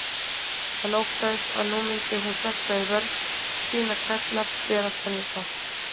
Hann óttaðist að nú myndi hún hrökkva í vörn, sýna klærnar, bera tennurnar.